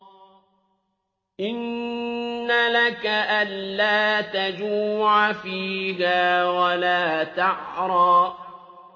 إِنَّ لَكَ أَلَّا تَجُوعَ فِيهَا وَلَا تَعْرَىٰ